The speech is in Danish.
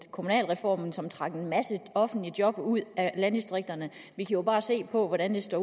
kommunalreformen som trak en masse offentlige job ud af landdistrikterne vi kan bare se på hvordan der står